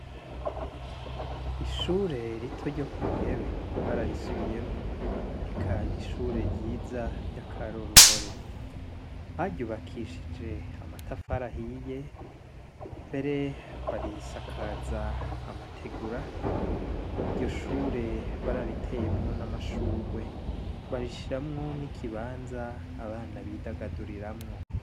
Ishure rito ryo ku muyebe bararisubiyemwo eka n'ishure ryiza ry'akaroruhore baryubakishije amatafarahiye mbere barisakaza amategura iryo shure barariteyemwo n'amashurwa gwe bashishiramwo ni'ikibanza abana bidagaduriramwo.